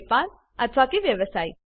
વેપાર અથવા વ્યવસાય